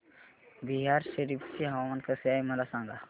बिहार शरीफ चे हवामान कसे आहे मला सांगा